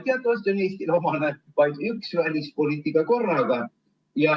Teatavasti on Eestile omane vaid üks välispoliitika korraga.